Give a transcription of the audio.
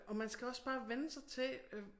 Og man skal også bare vænne sig til øh